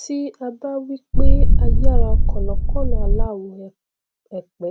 tí a bá wí pé ayára kọlọkọlọ aláwọ èèpẹ